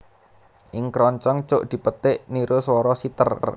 Ing kroncong cuk dipetik niru swara siter